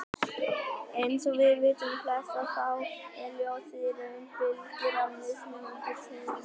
Eins og við vitum flest að þá er ljósið í raun bylgjur af mismunandi tíðni.